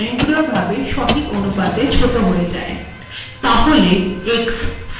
LaTeX a এর size স্বয়ংক্রিয়ভাবে সঠিক অনুপাতে ছোট হয়ে যায়